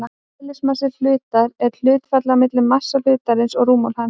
Eðlismassi hlutar er hlutfallið á milli massa hlutarins og rúmmáls hans.